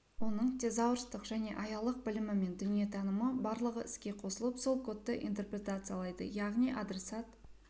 оның тезаурстық және аялық білімі мен дүниетанымы барлығы іске қосылып сол кодты интерпретациялайды яғни адресат